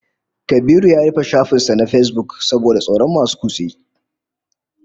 Kabiru ya rufe shafin sa na Facebook saboda tsoron masu kutse